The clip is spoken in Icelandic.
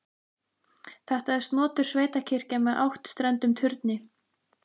Þetta er snotur sveitakirkja með áttstrendum turni.